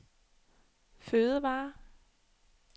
fødevarer